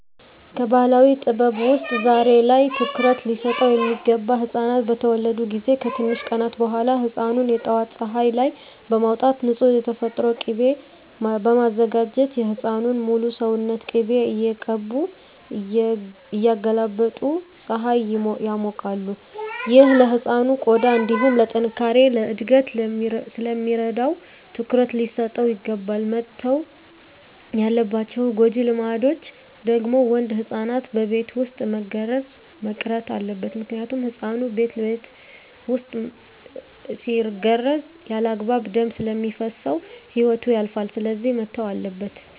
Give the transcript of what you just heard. ከባህላዊ ጥበብ ውስጥ ዛሬ ላይ ትኩሩት ሊሰጠው ሚገባ ህፃናት በተወለዱ ጊዜ ከትንሽ ቀናት በኋላ ህፃኑን የጠዋት ፀሀይ ላይ በማውጣት ንፁህ የተፈጥሮ ቂቤ በማዘጋጀት የህፃኑን ሙሉ ሰውነት ቅቤ እየቀቡ እያገላበጡ ፀሀይ ያሞቃሉ። ይህ ለህፃኑ ቆዳ እንዲሁም ለጥነካሬ፣ ለእድገት ስለሚረዳው ትኩረት ሊሰጠው ይገባል። መተው ያለባቸው ጎጂ ልማዶች ደግሞ ወንድ ህፃናትን በቤት ውስጥ መገረዝ መቅረት አለበት ምክንያቱም ህፃኑ ቤት ውስጥ ሲገረዝ ያለአግባብ ደም ስለሚፈስሰው ህይወቱ ያልፋል ስለዚህ መተው አለበት።